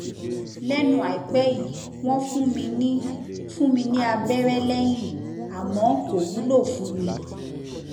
lẹnu àìpẹ yìí wọn fún mi ní fún mi ní abẹrẹ lẹyìn àmọ kò wúlò fún mi